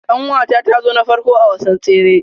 Kanwata ta zo na farko a wasan tsere.